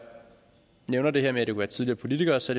nævner det her med at det kunne være tidligere politikere så